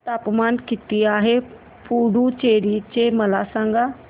तापमान किती आहे पुडुचेरी चे मला सांगा